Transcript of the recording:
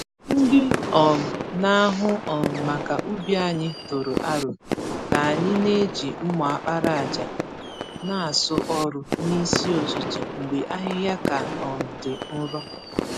Ndị um na-ahụ um maka ubi anyị tụrụ aro ka anyị n'eji mma àkpàràjà n'asụ ọrụ n'isi ụtụtụ mgbe ahịhịa ka um dị nro.